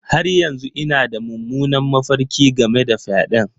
Har yanzu ina da mummunan mafarki game da fyaɗen.